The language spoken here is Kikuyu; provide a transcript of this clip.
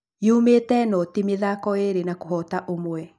Yumĩte noti mĩthako ĩĩrĩ na kũhota ũmwe